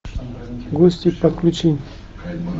гости подключи